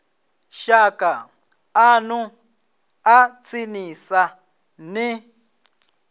shaka ḽanu ḽa tsinisa ni